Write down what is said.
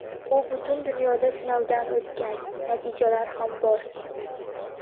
U butun dunyoda sinovdan o‘tgan, natijalar ham bor.